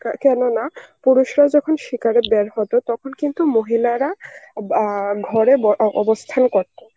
কা~ কেননা পুরুষরা যখন শিকারে বের হত তখন কিন্তু মহিলারা অ্যাঁ ঘরে ব~ অ~ অবস্থান করতো.